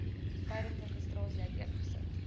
tydens registrasie uiteengesit